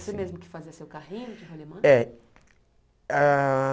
E você mesmo que fazia seu carrinho de rolemã? É ah